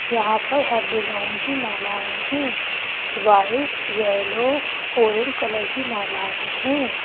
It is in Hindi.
यहां पर हर डिज़ाइन की मालाएं हैं वाइट येलो ऑरेंज कलर की मालाएं हैं।